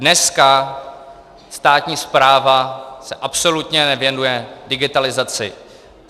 Dneska státní správa se absolutně nevěnuje digitalizaci.